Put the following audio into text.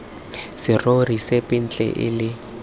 serori sepe ntle le se